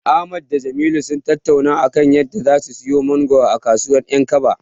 Ahmad da Jamilu sun tattauna a kan yadda zasu siyo mangoro a kasuwar 'yankaba.